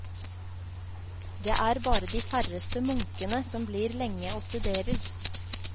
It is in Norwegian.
Det er bare de færreste munkene som blir lenge og studerer.